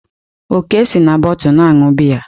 Oke si na bọtu na-aṅụ biya.